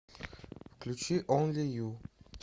включи онли ю